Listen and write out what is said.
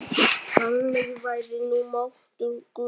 Þannig væri nú máttur guðs.